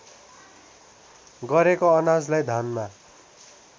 गरेको अनाजलाई धानमा